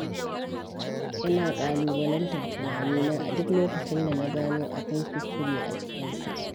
Ina ƙalubalantar tunanina a duk lokacin da na gano akwai kuskure a cikinsa.